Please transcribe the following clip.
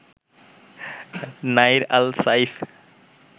Nair al Saif